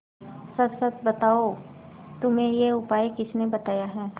सच सच बताओ तुम्हें यह उपाय किसने बताया है